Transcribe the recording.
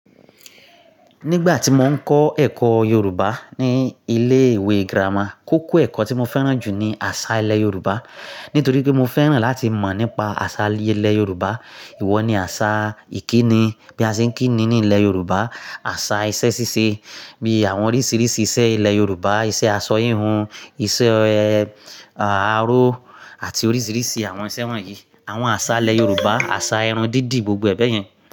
Nígbà tí mo ń kọ́ ẹ̀kọ́ Yorùbá ní ilé ìwé grama koko ẹ̀kọ́ tí mo fẹ́ràn jù ni àṣà ilẹ̀ Yorùbá. Nítorí pé mo fẹ́ràn láti mọ̀ nípa àsà ilé Yorùbá, ìwọ ni àsà ìkíni, bí a ṣe ń kíni ní ilẹ̀ Yorùbá, àṣà iṣẹ́ ṣíṣe bí àwọn oríṣiríṣi iṣẹ́ ilẹ̀ Yorùbá, iṣẹ́ aṣọ híhun, iṣẹ́, e, àro àti oríṣiríṣi àwọn iṣẹ́ wọ̀nyí. Àwọn àsà ilẹ̀ Yorùbá, àsà ẹran dídì, gbogbo ẹ bẹ̀ yẹn.